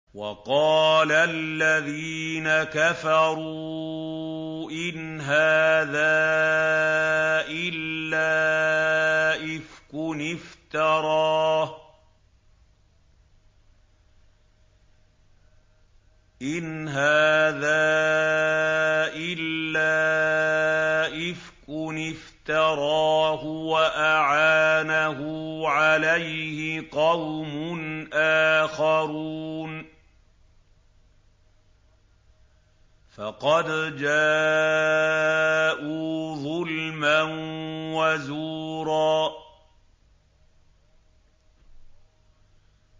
وَقَالَ الَّذِينَ كَفَرُوا إِنْ هَٰذَا إِلَّا إِفْكٌ افْتَرَاهُ وَأَعَانَهُ عَلَيْهِ قَوْمٌ آخَرُونَ ۖ فَقَدْ جَاءُوا ظُلْمًا وَزُورًا